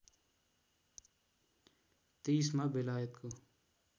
२३ मा बेलायतको